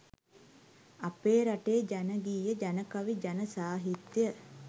අපේ රටේ ජන ගීය ජනකවි ජන සාහිත්‍ය